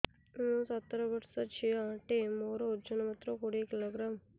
ମୁଁ ସତର ବର୍ଷ ଝିଅ ଟେ ମୋର ଓଜନ ମାତ୍ର କୋଡ଼ିଏ କିଲୋଗ୍ରାମ